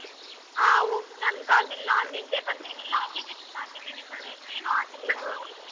ನನ್ ಕಾಲಮೇಲ ನಾನ್ ನಿಲ್ಲಬೇಕಂತ ಹೇಳಿ ಎಲ್ಲ applications ಹಾಕಿದಿನಿ ಕಣೆ, ನೀನೂ ಹಾಕಿದಿಯಾ?